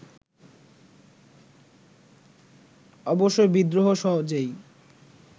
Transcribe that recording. অবশ্যই বিদ্রোহ সহজেই